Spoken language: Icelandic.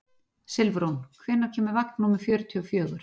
Silfrún, hvenær kemur vagn númer fjörutíu og fjögur?